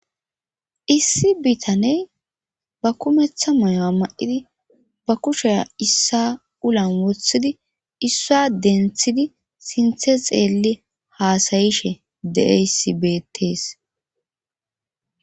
issi bitaney ba kumeththa mayowa ma7idi ba kushea issa ulan wothidi issua denthidi sinthe xeelli haasayishe de7eysibetees